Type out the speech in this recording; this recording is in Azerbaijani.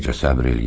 Necə səbr eləyim?